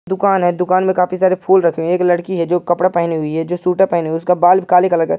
दुकान है। दुकान में काफी सारे फूल रखे हुए। एक लड़की है जो कपड़ा पहनी हुई है जो सूटर पहने हु उसका बाल काले कलर का --